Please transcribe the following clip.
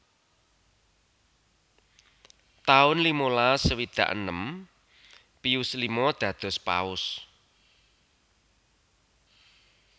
taun limalas swidak enem Pius lima dados Paus